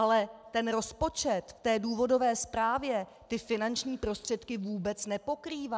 Ale ten rozpočet v té důvodové zprávě ty finanční prostředky vůbec nepokrývá.